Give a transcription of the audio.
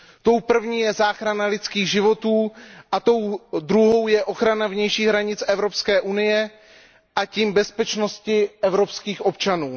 Tou první je záchrana lidských životů a tou druhou je ochrana vnějších hranic EU, a tím bezpečnosti evropských občanů.